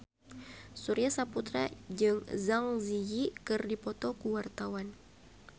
Surya Saputra jeung Zang Zi Yi keur dipoto ku wartawan